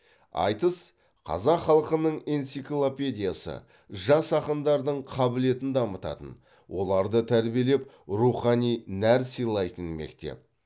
айтыс қазақ халқының энциклопедиясы жас ақындардың қабілетін дамытатын оларды тәрбиелеп рухани нәр сыйлайтын мектеп